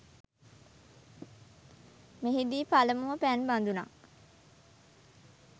මෙහිදී පළමුව පැන් බදුනක්